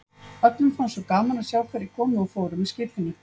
Öllum fannst svo gaman að sjá hverjir komu og fóru með skipinu.